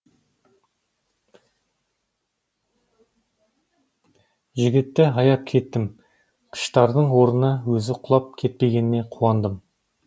жігітті аяп кеттім қыштардың орнына өзі құлап кетпегеніне қуандым